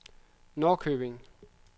Norrköping